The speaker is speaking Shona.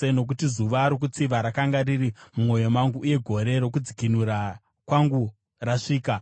Nokuti zuva rokutsiva rakanga riri mumwoyo mangu, uye gore rokudzikinura kwangu rasvika.